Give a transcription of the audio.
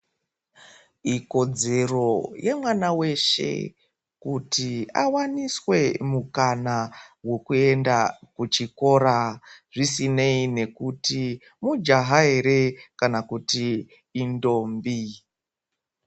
Ikodzero yemwana weshe kuti awaniswe mukana wekuenda kuchikora zvisinei nekuti mujaha ere kana kuti indombi.